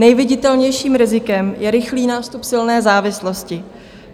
Nejviditelnějším rizikem je rychlý nástup silné závislosti.